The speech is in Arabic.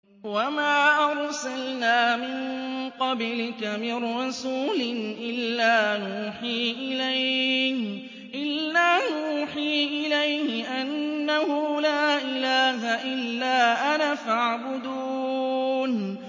وَمَا أَرْسَلْنَا مِن قَبْلِكَ مِن رَّسُولٍ إِلَّا نُوحِي إِلَيْهِ أَنَّهُ لَا إِلَٰهَ إِلَّا أَنَا فَاعْبُدُونِ